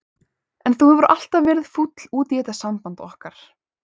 En þú hefur alltaf verið fúll út í þetta samband okkar.